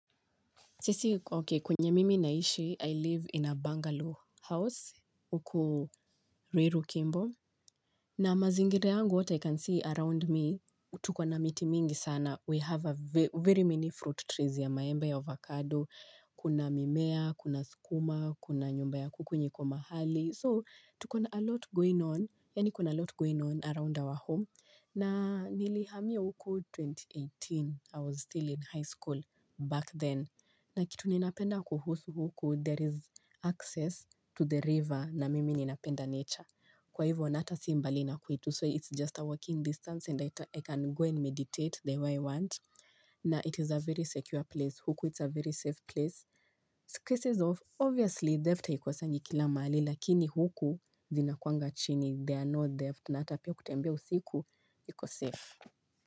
Sisi, ok, kwenye mimi naishi, I live in a Bungalow house, huku Ruiru Kimbo. Na mazingire yangu, what I can see around me, tuko na miti mingi sana. We have very many fruit trees ya maembe avocado. Kuna mimea, kuna skuma, kuna nyumba ya kuku yenye iko mahali. So tuko na alot going on yaani kuna alot going on around our home na nilihamia huku elfu mbili na kumi na tisa i was still in highschool back then. Na kitu ninapenda kuhusu huku there is access to the river na mimi ninapenda nature. Kwa hivyo na hata si mbali na kwetu so it's just a walking distance and I can go and meditate the way I want. Na it is a very secure place huku it's a very safe place cases of obviously theft haikosangi kila mahali lakini huku zinakuanga chini there are no theft na hata pia kutembea usiku iko safe.